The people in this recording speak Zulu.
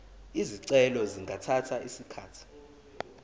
izicelo zingathatha isikhathi